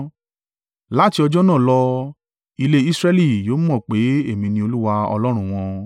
Láti ọjọ́ náà lọ, ilé Israẹli yóò mọ̀ pé èmi ni Olúwa Ọlọ́run wọn.